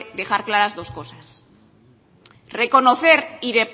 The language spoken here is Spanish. dejar clara dos cosas reconocer